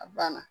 A banna